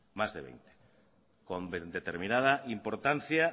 más de veinte con determinada importancia